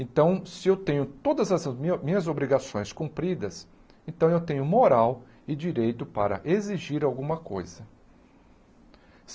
Então, se eu tenho todas as mi minhas obrigações cumpridas, então eu tenho moral e direito para exigir alguma coisa.